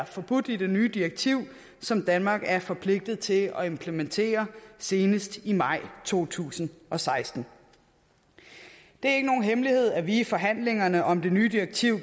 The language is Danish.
forbudt i det nye direktiv som danmark er forpligtet til at implementere senest i maj to tusind og seksten det er ikke nogen hemmelighed at vi regeringen i forhandlingerne om det nye direktiv